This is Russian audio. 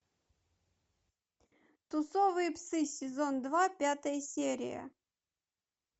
тусовые псы сезон два пятая серия